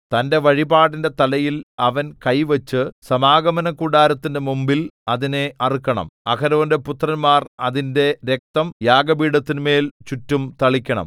തന്റെ വഴിപാടിന്റെ തലയിൽ അവൻ കൈവച്ചു സമാഗമനകൂടാരത്തിന്റെ മുമ്പിൽ അതിനെ അറുക്കണം അഹരോന്റെ പുത്രന്മാർ അതിന്റെ രക്തം യാഗപീഠത്തിന്മേൽ ചുറ്റും തളിക്കണം